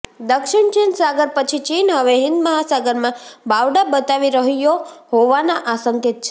દક્ષિણ ચીન સાગર પછી ચીન હવે હિંદ મહાસાગરમાં બાવડાં બતાવી રહ્યો હોવાના આ સંકેત છે